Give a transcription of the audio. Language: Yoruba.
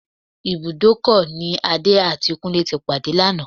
Ibùdókọ̀ ni Adé àti Kúnlé ti pàdé lánàá